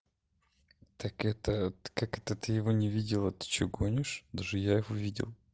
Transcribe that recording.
так это как это ты его не видела ты что гонишь даже я его видел